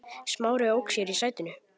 Smári ók sér í sætinu.